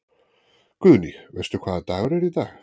Guðný: Veistu hvaða dagur er í dag?